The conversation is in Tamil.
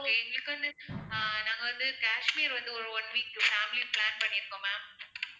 எங்களுக்கு வந்து ஆஹ் நாங்க வந்து காஷ்மீர் வந்து ஒரு one week family plan பண்ணிருக்கோம் ma'am